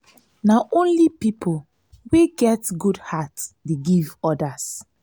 na only pipo wey get good heart dey give odas.